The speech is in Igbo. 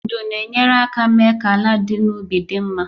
Ndu na-enyere aka mee ka ala dị n'ubi dị mma